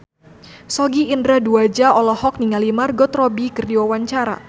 Sogi Indra Duaja olohok ningali Margot Robbie keur diwawancara